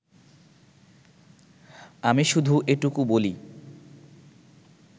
আমি শুধু এটুকু বলি